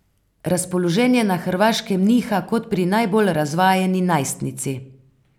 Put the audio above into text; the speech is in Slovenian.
Razpoloženje na Hrvaškem niha kot pri najbolj razvajeni najstnici.